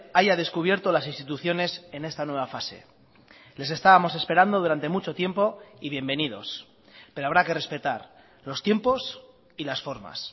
haya descubierto las instituciones en esta nueva fase les estábamos esperando durante mucho tiempo y bienvenidos pero habrá que respetar los tiempos y las formas